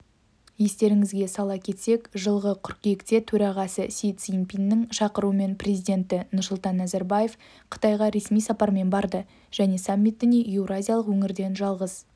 естеріңізге сала кетсек жылғы қыркүйекте төрағасы си цзиньпиннің шақыруымен президенті нұрсұлтан назарбаев қытайға ресми сапармен барады және саммитіне еуразиялық өңірден жалғыз